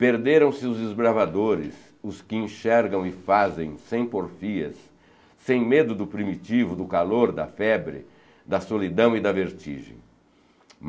perderam-se os esbravadores, os que enxergam e fazem, sem porfias, sem medo do primitivo, do calor, da febre, da solidão e da vertigem.